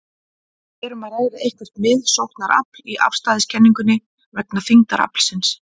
Er um að ræða eitthvert miðsóknarafl í afstæðiskenningunni vegna þyngdaraflsins?